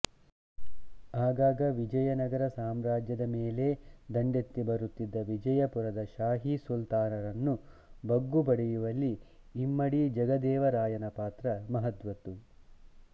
ಆಗಾಗ ವಿಜಯನಗರ ಸಾಮ್ರಾಜ್ಯದ ಮೇಲೇ ದಂಡೆತ್ತಿ ಬರುತ್ತಿದ್ದ ವಿಜಾಪುರದ ಶಾಹೀ ಸುಲ್ತಾನರನ್ನು ಬಗ್ಗು ಬಡಿಯುವಲ್ಲಿ ಇಮ್ಮಡಿ ಜಗದೇವರಾಯನ ಪಾತ್ರ ಮಹತ್ವದ್ದು